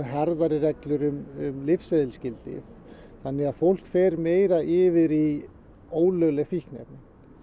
harðari reglur um lyfseðilsskyld lyf þannig að fólk fer meira yfir í ólögleg fíkniefni